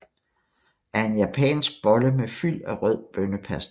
er en japansk bolle med fyld af rød bønnepasta